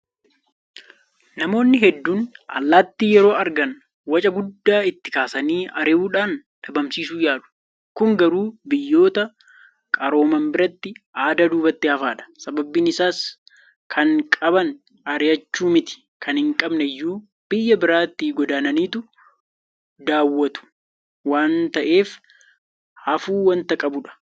Namoonni hedduun allaattii yeroo argan waca guddaa itti kaasanii ari'achuudhaan dhabamsiisuu yaalu. Kun garuu biyyoota qarooman biratti aadaa duubatti hafaadha. Sababni isaas kan qaban ari'achuu mitii kan hinqabne iyyuu biyya biraatti godaananiitu daawwatu waanta ta'eef hafuu waanta qabudha.